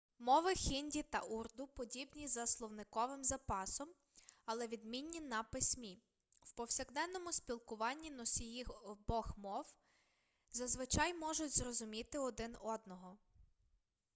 мови хінді та урду подібні за словниковим запасом але відмінні на письмі в повсякденному спілкуванні носії обох мов зазвичай можуть зрозуміти один одного